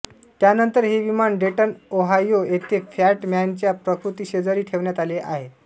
त्यानंतर हे विमान डेटन ओहायो येथे फॅट मॅनच्या प्रतिकृतीशेजारी ठेवण्यात आलेले आहे